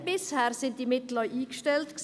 Bisher waren diese Mittel auch eingestellt.